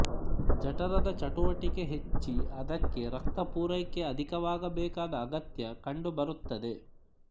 ಜಠರದ ಚಟುವಟಿಕೆ ಹೆಚ್ಚಿ ಅದಕ್ಕೆ ರಕ್ತಪೂರೈಕೆ ಅಧಿಕವಾಗಬೇಕಾದ ಅಗತ್ಯ ಕಂಡುಬರುತ್ತದೆ